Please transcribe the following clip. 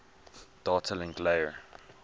data link layer